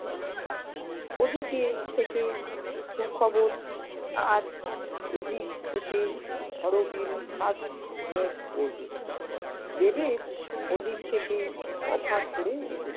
আছে। ওদিকে থেকে সুখবর, আর এদিক থেকে হরবিল fast move করবে ডেভিড ওদিক থেকে cover করে এসেছে।